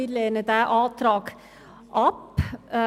Wir lehnen den Antrag ab.